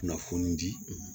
Kunnafoni di